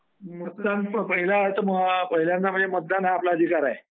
मतदान... पहिल्यांदा म्हणजे मतदान हा आपला अधिकार आहे.